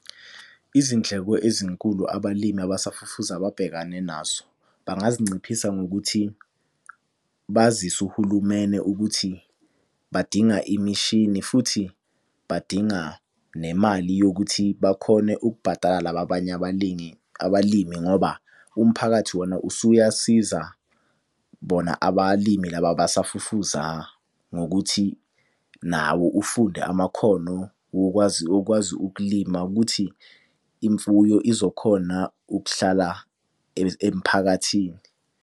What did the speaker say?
Izindleko ezinkulu abalimi abasafufusa ababhekane nazo. Bangazinciphisa ngokuthi bazise uhulumene ukuthi badinga imishini futhi badinga nemali yokuthi bakhone ukubhadala laba abanye abalingi, abalimi ngoba umphakathi wona usuyasiza bona abalimi laba abasafufuza. Ngokuthi nawo ufunde amakhono wokwazi wokwazi ukulima ukuthi imfuyo izokhona ukuhlala emphakathini.